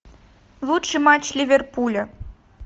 лучший матч ливерпуля